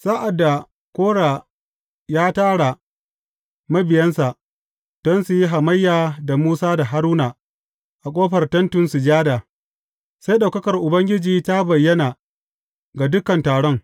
Sa’ad da Kora ya tara mabiyansa don su yi hamayya da Musa da Haruna a ƙofar Tentin Sujada, sai ɗaukakar Ubangiji ta bayyana ga dukan taron.